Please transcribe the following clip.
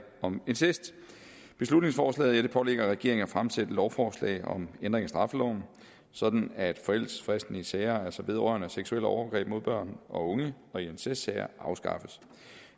om incest beslutningsforslaget pålægger regeringen at fremsætte lovforslag om ændring af straffeloven sådan at forældelsesfristen i sager vedrørende seksuelle overgreb mod børn og unge og i incestsager afskaffes